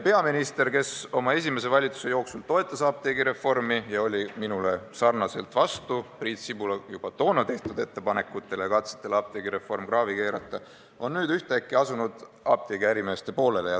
Peaminister, kes oma esimese valitsuse jooksul toetas apteegireformi ja oli nagu ka mina vastu Priit Sibula juba toona tehtud ettepanekutele ja katsetele apteegireform kraavi kreeta, on ühtäkki asunud apteegiärimeeste poolele.